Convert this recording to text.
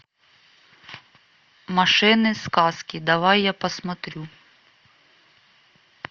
машины сказки давай я посмотрю